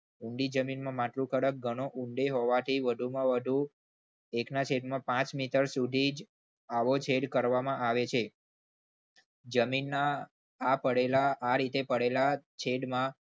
ઊંડી જમીનમાં માટી થોડુંક ઊંડું હોવાથી વધુમાં વધુ એક ના છેદમાં પાંચ મીટર સુધી જ આવો છેદ કરવામાં આવે છે. જમીનમાં આ પડેલા આ રીતે પડેલા છેદમાં